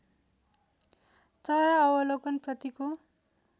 चरा अवलोकन प्रतिको